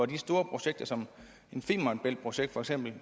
de store projekter som for eksempel